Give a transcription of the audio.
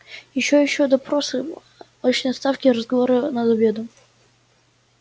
ещё ещё допросы очные ставки разговоры за обедом